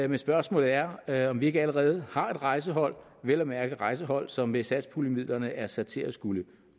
men spørgsmålet er er om vi ikke allerede har et rejsehold vel at mærke et rejsehold som med satspuljemidlerne er sat til at skulle